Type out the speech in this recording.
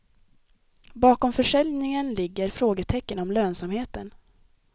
Bakom försäljningen ligger frågetecken om lönsamheten.